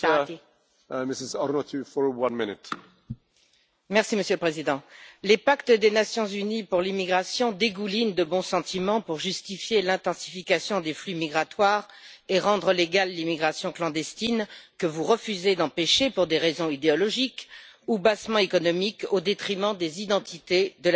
Merci Monsieur le Président, les pactes des Nations unies pour l'immigration dégoulinent de bons sentiments pour justifier l'intensification des flux migratoires et rendre légale l'immigration clandestine que vous refusez d'empêcher, pour des raisons idéologiques ou bassement économiques, au détriment des identités, de la sécurité, et même de la pérennité des peuples européens.